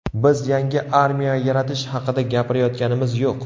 Biz yangi armiya yaratish haqida gapirayotganimiz yo‘q.